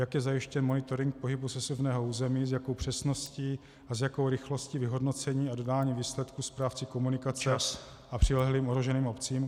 Jak je zajištěn monitoring pohybu sesuvného území, s jakou přesností a s jakou rychlostí vyhodnocení a dodání výsledků správci komunikace a přilehlým ohroženým obcím?